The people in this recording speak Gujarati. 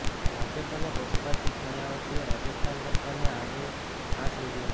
ભાજપ અને બસપા ચીફ માયાવતીએ રાજસ્થાન સરકારને આડેહાથ લીધી હતી